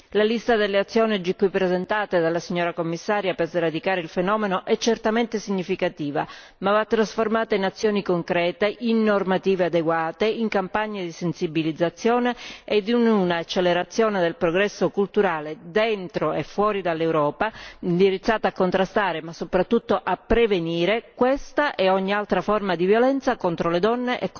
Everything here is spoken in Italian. La lista delle azioni oggi qui presentata dalla signora Commissario per sradicare il fenomeno è certamente significativa, ma va trasformata in azioni concrete, in normative adeguate, in campagne di sensibilizzazione e in un'accelerazione del progresso culturale dentro e fuori dall'Europa, indirizzate a contrastare, ma soprattutto a prevenire, questa e ogni altra forma di violenza contro le donne e contro le bambine.